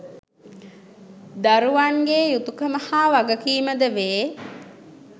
දරුවන් ගේ යුතුකම හා වගකීමද වේ.